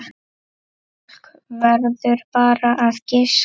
Fólk verður bara að giska.